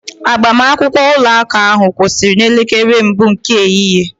Agbamakwụkwọ ụka ahụ kwụsịrị n'elekere mbụ nke ehihie